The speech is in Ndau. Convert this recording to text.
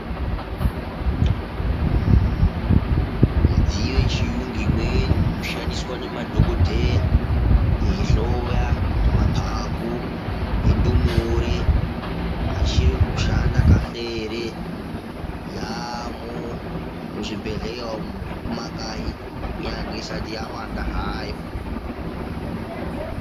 Zvimidziyo yechiyungu imweni inoshandiswa nemadhokodheya, eihloya kuti maphaphu endumure achiri kushanda kahle ere, yaamo muzvibhedhleya umu zvekumakayi kunyange isati yawanda hayo.